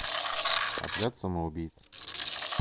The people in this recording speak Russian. отряд самоубийц